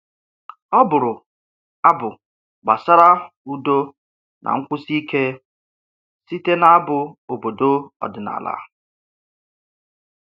Ọ bụrụ abụ gbasara udo na nkwụsi ike site n'abụ obodo ọdịnala